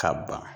Ka ban